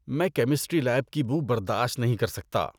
میں chemistry lab کی بو برداشت نہیں کر سکتا۔